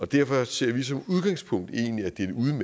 derfor ser vi som udgangspunkt egentlig at det